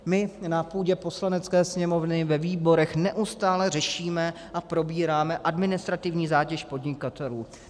My na půdě Poslanecké sněmovny ve výborech neustále řešíme a probíráme administrativní zátěž podnikatelů.